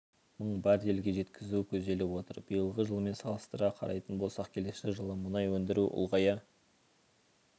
мың баррелге жеткізу көзделіп отыр биылғы жылмен салыстыра қарайтын болсақ келесі жылы мұнай өндіру ұлғая